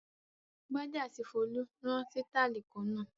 Gbadé àti Folú rán sítáálì kan náà.